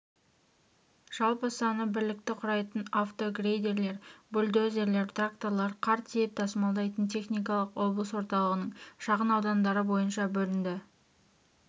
жалпы саны бірлікті құрайтын автогрейдерлер бульдозерлер тракторлар қар тиеп тасымалдайтын техникалар облыс орталығының шағынаудандары бойынша бөлінді